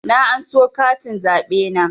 Na anso katin zaɓe na